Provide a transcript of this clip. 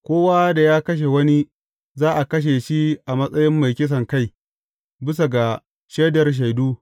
Kowa da ya kashe wani, za a kashe shi a matsayin mai kisankai, bisa ga shaidar shaidu.